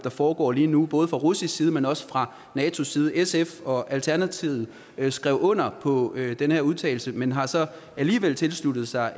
der foregår lige nu både fra russisk side men også fra natos side sf og alternativet skrev under på den her udtalelse men har så alligevel tilsluttet sig